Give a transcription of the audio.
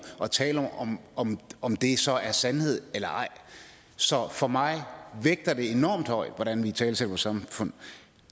og tale om om om det så er sandhed eller ej så for mig vægter det enormt højt hvordan vi italesætter vores samfund